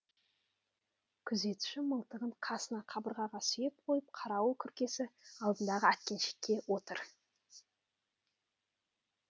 күзетші мылтығын қасына қабырғаға сүйеп қойып қарауыл күркесі алдындағы әткеншекте отыр